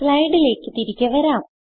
സ്ലൈഡിലേക്ക് തിരികെ വരാം